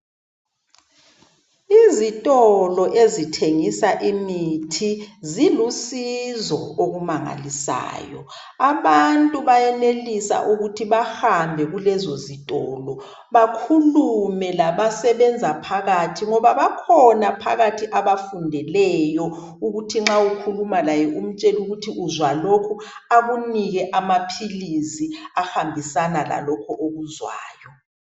Izitolo ezithengisa imithi, zilusizo okumangalisayo, Abantu bayenelisa ukuthi bahambe kulezozitolo, bakhulume labasebenza phakathi, ngoba bakhona phakathi abafundeleyo, ukuthi nxa ukhuluma laye umtshele ukuthi uzwa lokhu. Akunike amaphilisi ahambisana lalokhu okuzwayo.